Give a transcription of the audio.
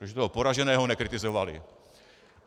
Protože toho poraženého nekritizovali.